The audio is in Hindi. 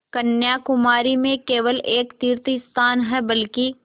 कन्याकुमारी में केवल एक तीर्थस्थान है बल्कि